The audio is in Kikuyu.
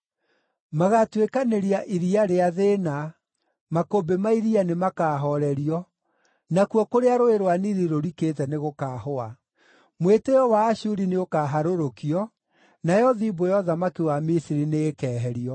Magaatuĩkanĩria iria rĩa thĩĩna; makũmbĩ ma iria nĩmakahoorerio, nakuo kũrĩa Rũũĩ rwa Nili rũrikĩte nĩgũkahũa. Mwĩtĩĩo wa Ashuri nĩũkaharũrũkio, nayo thimbũ ya ũthamaki wa Misiri nĩĩkeherio.